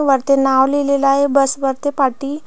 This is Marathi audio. वरती नाव लिहलेल आहे बस वरती पाटी--